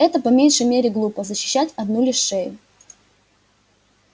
это по меньшей мере глупо защищать одну лишь шею